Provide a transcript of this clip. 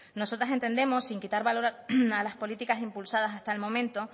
nosotras entendemos sin quitar valor a las políticas impulsadas hasta el momento